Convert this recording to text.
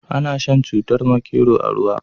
Ana shan cutar makero a ruwa.